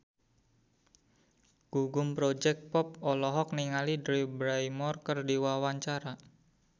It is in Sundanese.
Gugum Project Pop olohok ningali Drew Barrymore keur diwawancara